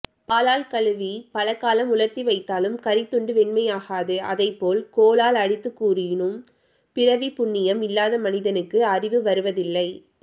பாலால் கழுவிப் பலகாலம் உலர்த்திவைத்தாலும் கரித்துண்டு வெண்மையாகாது அதைப்போல் கோலால் அடித்துக்கூறினும் பிறவிப் புண்ணியம் இல்லாத மனிதனுக்கு அறிவு வருவதில்லை